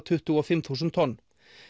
tuttugu og fimm þúsund tonn